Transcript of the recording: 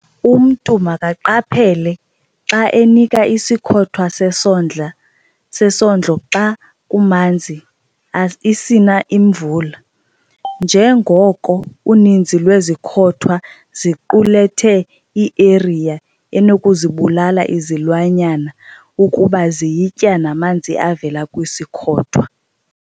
Umntu makaqaphele xa enika isikhothwa sesondlo xa kumanzi, isina imvula, njengoko uninzi lwezikhothwa ziqulethe i-urea enokuzibulala izilwanyana ukuba ziyitya namanzi avela kwisikhothwa.